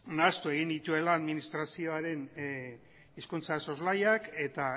nahastu egin nituela administrazioaren hizkuntza soslaiak eta